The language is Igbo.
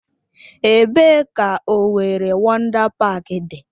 Ebee ka Owerri Wọndá Páák dị?